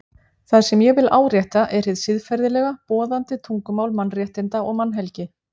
Það sem ég vil árétta er hið siðferðilega, boðandi tungumál mannréttinda og mannhelgi.